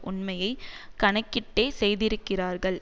உண்மையை கணக்கிட்டே செய்திருக்கிறார்கள்